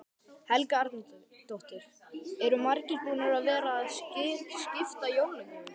Helga Arnardóttir: Eru margir búnir að vera að skipta jólagjöfunum?